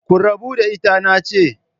Ku rabu da ita nace